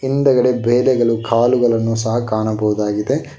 ಹಿಂದ್ಗಡೆ ಬೆಳೆಗಳು ಕಾಳುಗಳನ್ನು ಸಹ ಕಾಣಬಹುದಾಗಿದೆ.